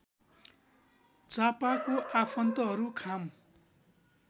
च्हापाको आफन्तहरू खाम